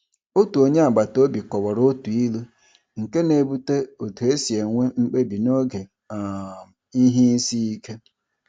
Otu onye agbataobi kọwara otu ilu nke na-ebute otu e si enwe mkpebi n’oge um ihe isiike.